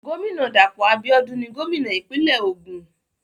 Gómìnà Dàpọ̀ Abíọ́dún ni gómìnà ìpínlẹ̀ Ògùn.